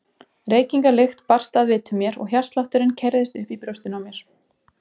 Reykingalykt barst að vitum mér og hjartslátturinn keyrðist upp í brjóstinu á mér.